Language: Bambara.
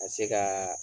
Ka se ka